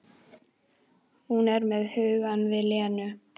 Hún er með hugann við Lenu.